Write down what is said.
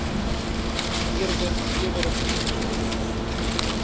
eerder klewerige voedsel